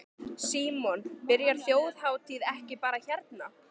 Símon: Byrjar Þjóðhátíð ekki bara hérna?